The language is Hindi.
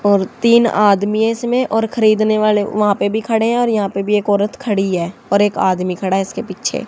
और तीन आदमी इसमें और खरीदने वाले वहां पे भी खड़े हैं और यहां पे भी एक औरत खड़ी है और एक आदमी खड़ा इसके पीछे--